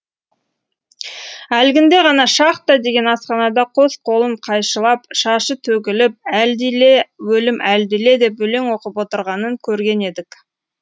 әлгінде ғана шахта деген асханада қос қолын қайшылап шашы төгіліп әлдиле өлім әлдиле деп өлең оқып отырғанын көрген едік